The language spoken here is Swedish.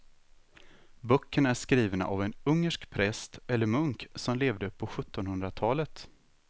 Böckerna är skrivna av en ungersk präst eller munk som levde på sjuttonhundratalet.